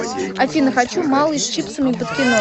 афина хочу малый с чипсами под кино